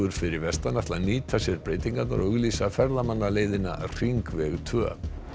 fyrir vestan ætla að nýta sér breytingarnar og auglýsa hringveg tvö